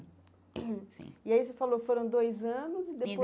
sim E aí você falou, foram dois anos e depois?